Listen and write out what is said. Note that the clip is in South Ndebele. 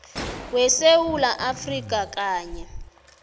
wesewula afrika kanye